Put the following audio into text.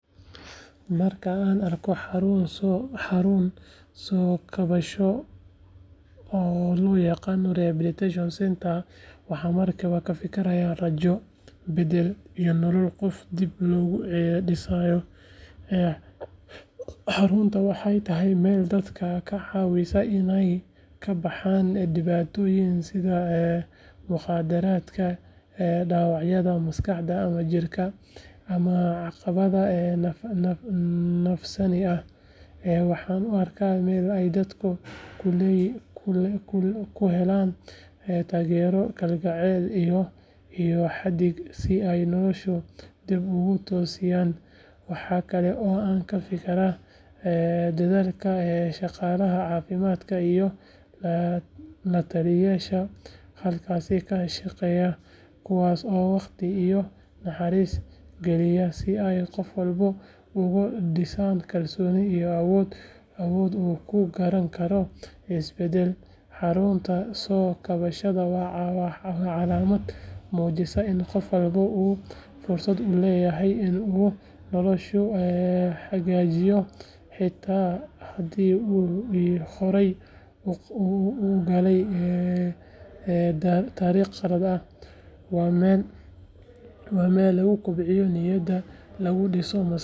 Marka aan arko xarun soo kabasho oo loo yaqaan rehabilitation centre, waxaan markiiba ka fikirayaa rajo, beddel, iyo nolosha qof dib loogu dhisayo. Xaruntaas waxay tahay meel dadka ka caawisa inay ka baxaan dhibaatooyin sida mukhaadaraadka, dhaawacyada maskaxda ama jirka, ama caqabadaha nafsaani ah. Waxaan u arkaa meel ay dadku ku helaan taageero, kalgacal iyo hagid si ay noloshooda dib ugu toosiyaan. Waxa kale oo aan ka fikirayaa dadaalka shaqaalaha caafimaadka iyo la-taliyeyaasha halkaas ka shaqeeya kuwaas oo waqti iyo naxariis gelinaya si ay qof walba uga dhisaan kalsooni iyo awood uu ku gaari karo isbeddel. Xarunta soo kabashada waa calaamad muujinaysa in qof walba uu fursad u leeyahay in uu noloshiisa hagaajiyo, xitaa haddii uu horay u galay dariiq qalad ah. Waa meel lagu kobciyo niyadda, lagu dhiso maskaxda.